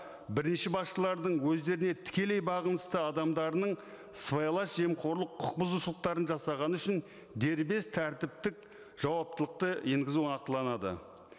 бірінші басшылардың өздеріне тікелей бағынысты адамдарының сыбайлас жемқорлық құқық бұзушылықтарын жасағаны үшін дербес тәртіптік жауаптылықты енгізу нақтыланады